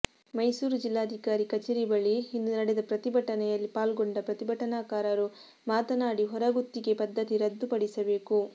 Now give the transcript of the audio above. ಮೈಸೂರು ಜಿಲ್ಲಾಧಿಕಾರಿ ಕಚೇರಿ ಬಳಿ ಇಂದು ನಡೆದ ಪ್ರತಿಭಟನೆಯಲ್ಲಿ ಪಾಲ್ಗೊಂಡ ಪ್ರತಿಭಟನಾಕಾರರು ಮಾತನಾಡಿ ಹೊರಗುತ್ತಿಗೆ ಪದ್ಧತಿ ರದ್ದು ಪಡಿಸಬೇಕು